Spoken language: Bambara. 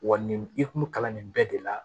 Wa nin i kun kalan nin bɛɛ de la